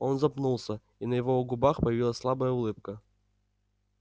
он запнулся и на его у губах появилась слабая улыбка